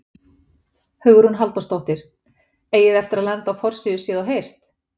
Hugrún Halldórsdóttir: Eigið þið eftir að lenda á forsíðu Séð og heyrt?